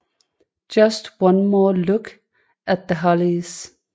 Just One More Look at The Hollies